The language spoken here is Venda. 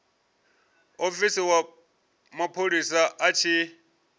muofisi wa mapholisa a tshi